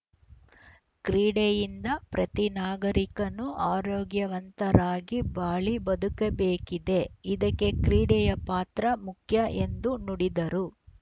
ಕ್ರೀಡೆಯಿಂದ ಪ್ರತಿ ನಾಗರಿಕನು ಆರೋಗ್ಯವಂತರಾಗಿ ಬಾಳಿ ಬದುಕಬೇಕಿದೆ ಇದಕ್ಕೆ ಕ್ರೀಡೆಯ ಪಾತ್ರ ಮುಖ್ಯ ಎಂದು ನುಡಿದರು